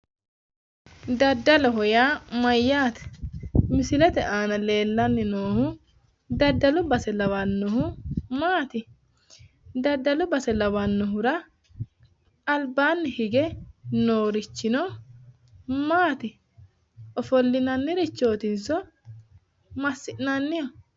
Daddaloho yaa mayyaate? Misilete aana noohu daddalu base lawannohu maati? Daddalu base lawannohura albaanni hige noorichino maati? Ofollinannirichootinso massi'nanniho?